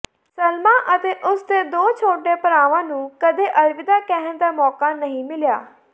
ਸਲਮਾ ਅਤੇ ਉਸ ਦੇ ਦੋ ਛੋਟੇ ਭਰਾਵਾਂ ਨੂੰ ਕਦੇ ਅਲਵਿਦਾ ਕਹਿਣ ਦਾ ਮੌਕਾ ਨਹੀਂ ਮਿਲਿਆ